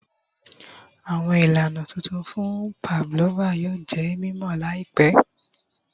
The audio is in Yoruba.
Awọn ilana tuntun fun pavlova yoo jẹ mimọ Lai pẹ